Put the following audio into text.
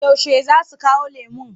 Yaushe za su kawo lemon?